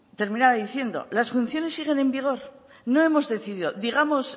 terminaba diciendo las funciones siguen en vigor no hemos decidido digamos